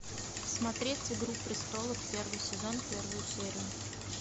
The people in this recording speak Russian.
смотреть игру престолов первый сезон первую серию